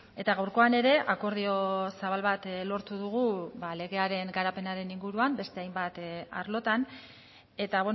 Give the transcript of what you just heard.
eta gaurkoan ere akordio zabal bat lortu dugu legearen garapenaren inguruan beste hainbat arlotan eta